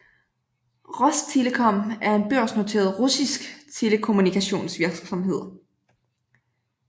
Rostelecom er en børsnoteret russisk telekommunikationsvirksomhed